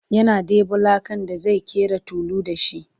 yana ɗebo lakan da zai ƙera tulu da shi